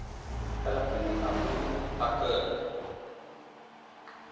caliph abu bakr